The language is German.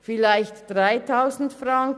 Vielleicht 3000 Franken?